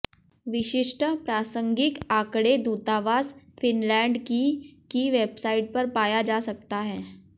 विशिष्ट प्रासंगिक आंकड़े दूतावास फिनलैंड की की वेबसाइट पर पाया जा सकता है